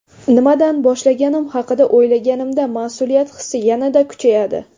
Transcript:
Nimadan boshlaganim haqida o‘ylaganimda, mas’uliyat hissi yana-da kuchayadi.